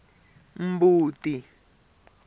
mbuti